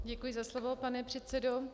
Děkuji za slovo, pane předsedo.